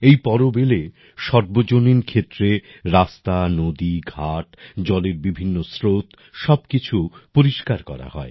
এই পর্ব এলে সর্বজনীন ক্ষেত্রে রাস্তা নদী ঘাট জলের বিভিন্ন স্রোত সব কিছু পরিষ্কার করা হয়